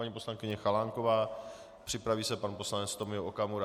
Paní poslankyně Chalánková, připraví se pan poslanec Tomio Okamura.